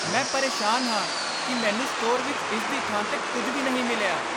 ਮੈਂ ਪਰੇਸ਼ਾਨ ਹਾਂ ਕਿ ਮੈਨੂੰ ਸਟੋਰ ਵਿੱਚ ਇਸਦੀ ਥਾਂ 'ਤੇ ਕੁਝ ਵੀ ਨਹੀਂ ਮਿਲਿਆ।